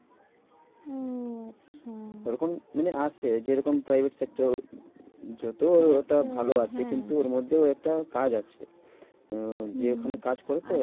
ওরকম মানে আসছে যেরকম private sector যত ওটা ভালো হ্যাঁ আছে। কিন্তু ওর মধ্যেও একটা কাজ আছে আহ হম যে ওখানে কাজ করে তো